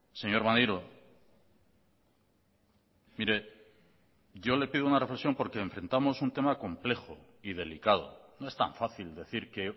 señor maneiro mire yo le pido una reflexión porque enfrentamos un tema complejo y delicado no es tan fácil decir que